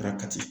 Fara kati